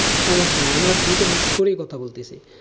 সমস্যা নেই আমরা দুটো mix করেই কথা বলতেছি,